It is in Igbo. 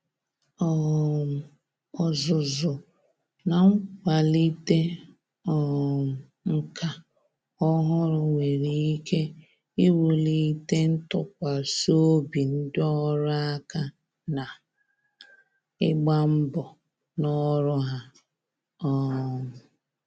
um Ọzụzụ na nkwalite um nka ọhụrụ nwere ike iwulite ntụkwasị obi ndị ọrụ aka ná ịgba mbọ ná ọrụ ha. um